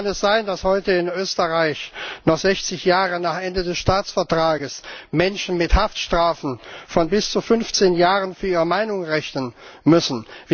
Wie kann es sein, dass heute in Österreich noch sechzig Jahre nach Abschluss des Staatsvertrags Menschen mit Haftstrafen von bis zu 15 Jahren für ihre Meinung rechnen müssen?